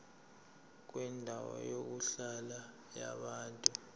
kwendawo yokuhlala yabantu